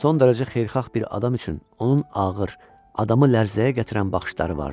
Son dərəcə xeyirxah bir adam üçün onun ağır, adamı lərzəyə gətirən baxışları vardı.